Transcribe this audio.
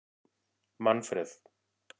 Manfreð